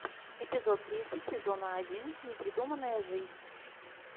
эпизод тридцать сезона один непридуманная жизнь